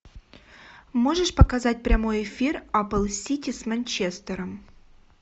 можешь показать прямой эфир апл сити с манчестером